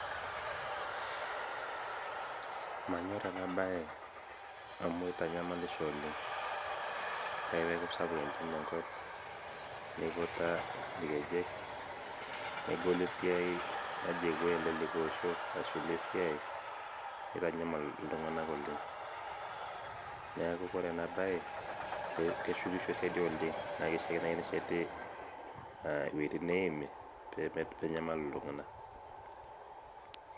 Manyorr ena baye amu itanyamalisho oleng', ore ake peeku sapuk enchan tenkop, niputa irkejek negolu esiaai naji epuooi likai osho ashu ilo esiaai, nitanyamal iltung'anak oleng'. Neeku kore ena baye keshukisho sidii oleng' Naa kishiaa naai nesheti iwuejitin neeimi pee menyamalu iltung'anak.